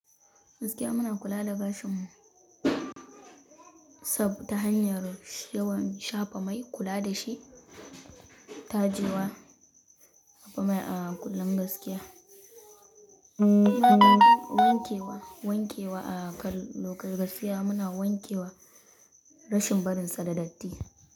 Gaskiya muna kula da gashinmu saboda hanyar yawan shafa mai, kula da shi, tajewa, saka mai a kullum gaskiya. Wanke wa, wanke wa a lokaci gaskiya muna wanke wa rashin barinsa da datti.